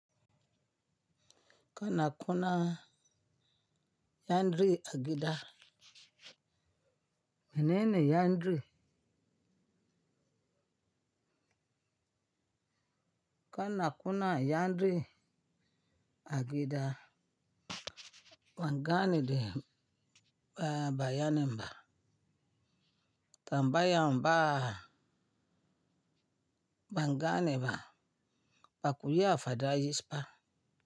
Kana kuna yan ri agida, mene ne yan dri? Kana kuna yandri agida, ban gane de ba yanin ba. Tan bayan ba, ban gane ba, ba kuya fada yishba.